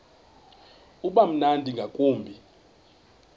uba mnandi ngakumbi